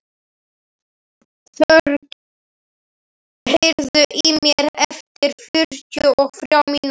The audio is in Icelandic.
Þorgísl, heyrðu í mér eftir fjörutíu og þrjár mínútur.